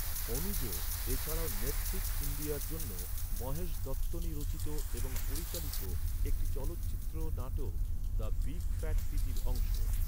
অনুজ, এ ছাড়াও নেটফ্লিক্স ইন্ডিয়ার জন্য মহেশ দত্তনী রচিত এবং পরিচালিত একটি চলচ্চিত্র নাটক, দ্য বিগ ফ্যাট সিটির অংশ।